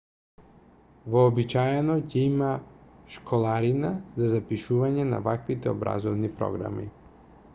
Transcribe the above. вообичаено ќе има школарина за запишување на ваквите образовни програми